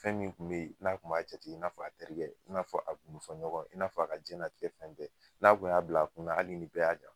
Fɛn min kun bɛ ye n'a kun b'a jate i n'a fɔ a terikɛ i n'a fɔ a gundofɔ ɲɔgɔn i n'a fɔ a ka jiyɛnlatigɛ fɛn bɛ n'a kun y'a bila a kunna hali nin bɛɛ y'a jan